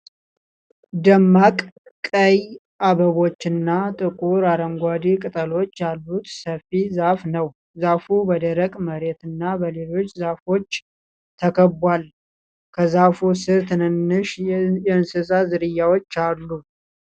ደማቅ ቀይ አበባዎችና ጥቁር አረንጓዴ ቅጠሎች ያሉት ሰፊ ዛፍ ነው። ዛፉ በደረቅ መሬትና በሌሎች ዛፎች ተከብቧል። ከዛፉ ስር ትናንሽ የእንስሳት ዝርያዎች አሉ።